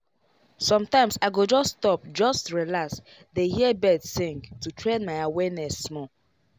sometimes i go stop just relax dey hear birds sing to train my awareness small.